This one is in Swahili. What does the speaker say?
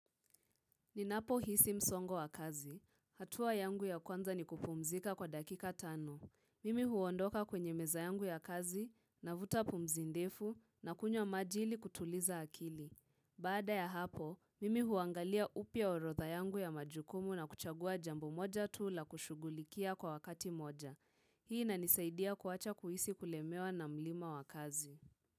Ninapo hisi msongo wa kazi. Hatua yangu ya kwanza ni kupumzika kwa dakika tano. Mimi huondoka kwenye meza yangu ya kazi, navuta pumzi ndefu na kunywa maji ili kutuliza akili. Bada ya hapo, mimi huangalia upya orodha yangu ya majukumu na kuchagua jambo moja tu la kushugulikia kwa wakati moja. Hii inanisaidia kuacha kuhisi kulemewa na mlima wa kazi.